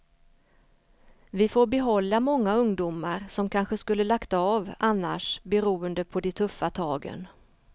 Vi får behålla många ungdomar som kanske skulle lagt av annars beroende på de tuffa tagen.